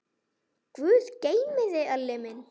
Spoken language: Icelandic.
Guð geymi þig, Elli minn.